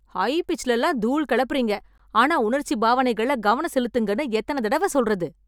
High பிட்ச்ல எல்லாம் தூள் கெளப்புறீங்க... ஆனா உணர்ச்சி பாவனைகள்ல கவனம் செலுத்துங்கன்னு எத்தன தடவ சொல்றது?